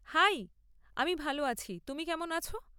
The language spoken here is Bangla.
হাই, আমি ভাল আছি। তুমি কেমন আছ?